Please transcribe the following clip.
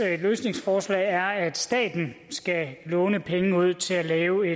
løsningsforslag er at staten skal låne penge ud til at lave